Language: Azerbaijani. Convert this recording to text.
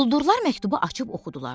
Quldurlar məktubu açıb oxudular.